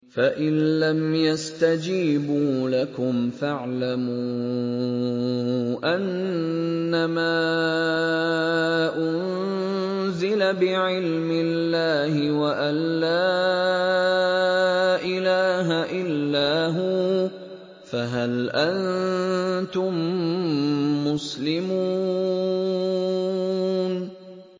فَإِلَّمْ يَسْتَجِيبُوا لَكُمْ فَاعْلَمُوا أَنَّمَا أُنزِلَ بِعِلْمِ اللَّهِ وَأَن لَّا إِلَٰهَ إِلَّا هُوَ ۖ فَهَلْ أَنتُم مُّسْلِمُونَ